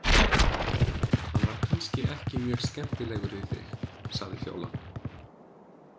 Hann var kannski ekki mjög skemmtilegur við þig, sagði Fjóla.